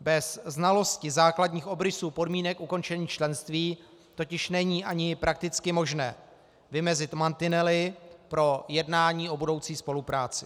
Bez znalosti základních obrysů podmínek ukončení členství totiž není ani prakticky možné vymezit mantinely pro jednání o budoucí spolupráci.